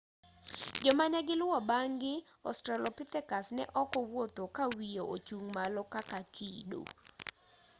joma negiluwo bang'gi australopithecus neok owuotho kawiye ochung malo kaka kido